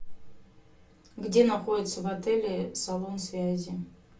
где находится в отеле салон связи